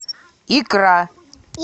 икра